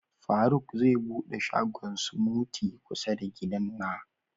Faruk zai bude shagon "smoothie " kusa da gidan na.